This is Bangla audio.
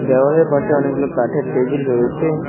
দেওয়ালের পাশে অনেকগুলো কাঠের টেবিল রয়েছে।